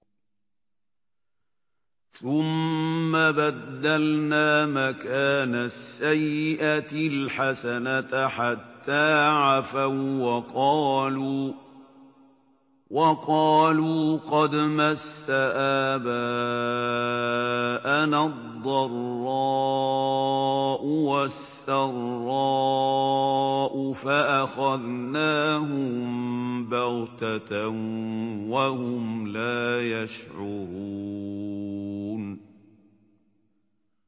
ثُمَّ بَدَّلْنَا مَكَانَ السَّيِّئَةِ الْحَسَنَةَ حَتَّىٰ عَفَوا وَّقَالُوا قَدْ مَسَّ آبَاءَنَا الضَّرَّاءُ وَالسَّرَّاءُ فَأَخَذْنَاهُم بَغْتَةً وَهُمْ لَا يَشْعُرُونَ